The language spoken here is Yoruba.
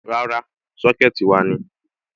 Rárá, Sọ́kẹ̀tì wa ni.